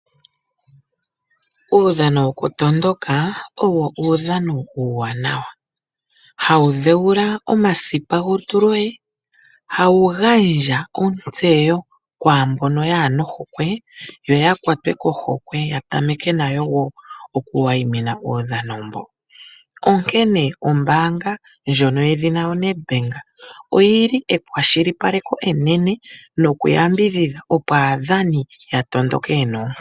Uudhano woku matuka owo uudhano uuwanawa. Hawu dhewula omasipa golutu lwoye . Hawu gandja ontseyo kwaambono kayena ohokwe yo yakwatwe kohokwe ya tameke woo nayo oku wayimina uudhano mbo ,onkene ombaanga ekwashilipaleko enene noku yambidhidha opo aadhani ya matuke yena oonkondo.